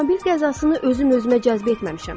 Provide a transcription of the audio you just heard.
Avtomobil qəzasını özüm özümə cəzb etməmişəm.